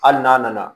Hali n'a nana